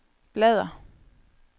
bladr